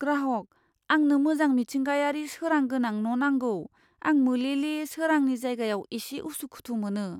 ग्राहग, "आंनो मोजां मिथिंगायारि सोरां गोनां न' नांगौ, आं मोलेमोले सोरांनि जायगायाव एसे उसुखुथु मोनो।"